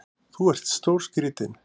Þú ert stórskrítinn!